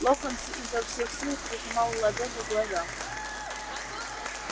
локонс изо всех сил прижимал ладони к глазам